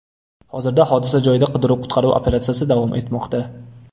Hozirda hodisa joyida qidiruv-qutqaruv operatsiyasi davom etmoqda.